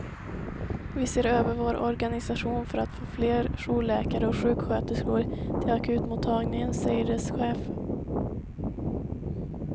Vi ser över vår organisation för att få fler jourläkare och sjuksköterskor till akutmottagningen, säger dess chef.